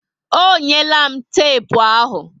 Ọ nyela m tepu ahụ